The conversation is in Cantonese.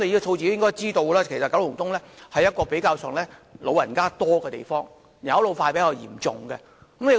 局長應知道九龍東的人口以長者居多，是人口老化較嚴重的地區。